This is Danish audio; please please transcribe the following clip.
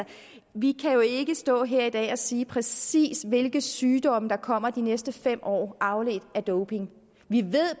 vi kan jo ikke stå her i dag og sige præcis hvilke sygdomme der kommer de næste fem år afledt af doping vi ved